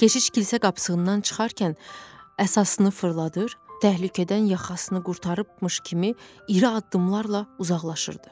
Keşiş kilsə qapısından çıxarkən əsasını fırladır, təhlükədən yaxasını qurtarıbmış kimi iri addımlarla uzaqlaşırdı.